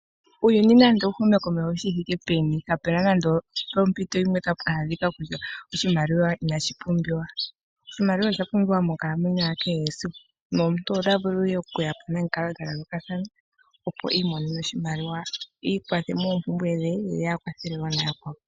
Uuyuni nande owuhume komeho shithike peni kapena nande ompito yimwe tapu adhika kutya oshimaliwa inashi pumbiwa. Oshimaliwa osha pumbiwa monkalamwenyo yakehe esiku nomuntu ota vulu okuya po nomikalo dhayooloka, opo imonene oshimaliwa iikwathe moompumbwe dhe ye akwathe wo nayakwawo.